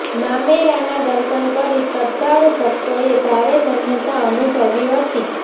મામેરાના દર્શન કરી શ્રધ્ધાળુ ભકતોએ ભારે ધન્યતા અનુભવી હતી